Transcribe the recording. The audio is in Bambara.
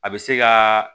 A bɛ se ka